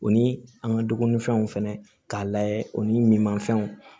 U ni an ka dumunifɛnw fɛnɛ k'a layɛ o ni min ma fɛnw